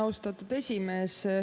Austatud esimees!